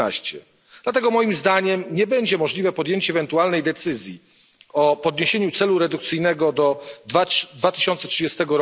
19. Dlatego, moim zdaniem, nie będzie możliwe podjęcie ewentualnej decyzji o podniesieniu celu redukcyjnego do 2030